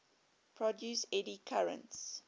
produce eddy currents